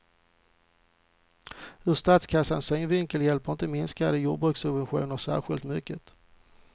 Ur statskassans synvinkel hjälper inte minskade jordbrukssubventioner särskilt mycket.